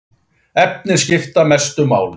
Efnin skipta mestu máli.